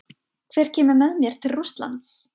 Hver kemur með mér til Rússlands?